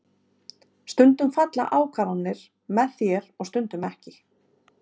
Stundum falla ákvarðanir með þér stundum ekki.